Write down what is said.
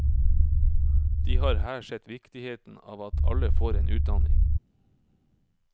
De har her sett viktigheten av at alle får en utdanning.